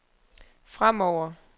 fremover